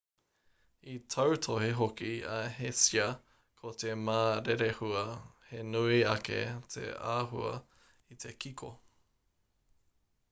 i tautohe hoki a hsieh ko te ma rerehua he nui ake te āhua i te kiko